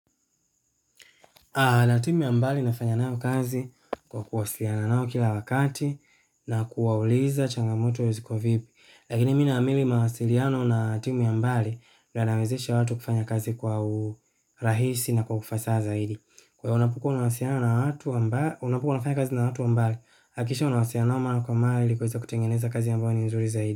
Na timu ya mbali nafanya nao kazi kwa kuwasiliana nao kila wakati na kuwauliza changamoto ziko vipi. Lakini mi naamini mawasiliano na timu ya mbali yanawezesha watu kufanya kazi kwa urahisi na kwa ufasa zaidi. Ona kuko na wasiliano na watu wa mbali unapokuwa unafanya kazi na watu wa mbali, hakikisha unawasiliana nao mara kwa mara ili kuweza kutengeneza kazi ambao ni nzuri zaidi.